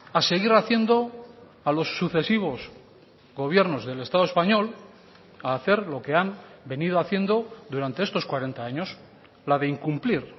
a seguir haciendo a los sucesivos gobiernos del estado español a hacer lo que han venido haciendo durante estos cuarenta años la de incumplir